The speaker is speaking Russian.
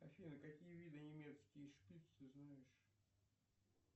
афина какие виды немецкий шпиц ты знаешь